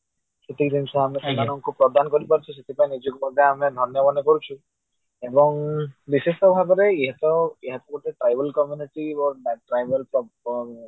ସେତିକି ଜିନିଷ ସେମାନଙ୍କୁ ଅମେ ପ୍ରଦାନ କରିପାରୁଛୁ ଆଉ ନିଜକୁ ମଧ୍ୟ ନିଜକୁ ଧନ୍ଯ ମନେ କରୁଛୁ ନିଶ୍ଚିତ ଭାବରେ ୟିଏ ତ ଏଗୋଟେ ଏହାକୁ ଗୋଟେ trivial community ବା trivial